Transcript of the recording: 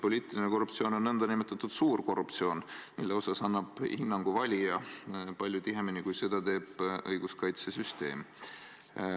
Poliitiline korruptsioon on nn suur korruptsioon, millele annab valija hinnangu palju tihedamini, kui seda teeb õiguskaitsesüsteem.